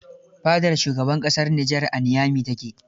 Fadar shugaban ƙasar Niger a Niamey ta ke.